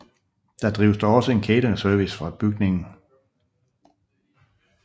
Der drives dog også en cateringservice fra bygningen